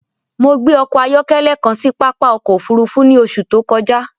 Mọ̀ gbẹ ọkọ-ayọkẹlẹ kàn sì pápá ọkọ̀ òfurufú ni oṣù tó kọja